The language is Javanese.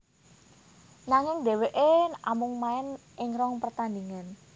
Nanging déwéké amung main ing rong pertandingan